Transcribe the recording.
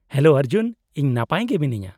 -Hello Arjun, ᱤᱧ ᱱᱟᱯᱟᱭ ᱜᱮ ᱢᱤᱱᱟᱹᱧᱟ ᱾